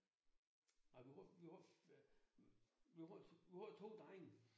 Ej vi var vi har vi var æh vi har to drenge